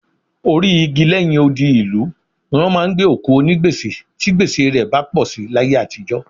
Orí igi lẹ́yìn odi ìlú ni wọ́n ń gbé òkú onígbèsè tí gbèsè rẹ bá pọ̀ sí láyé àtijọ́